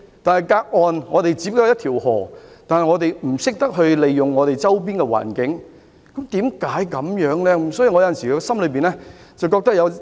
可是，與內地只相隔一條河的我們，就是不懂得把握周邊環境提供的機遇，為甚麼會這樣的呢？